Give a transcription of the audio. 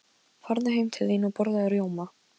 Farðu heim til þín og borðaðu rjóma.